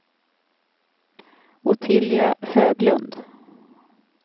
Ottilia Höglund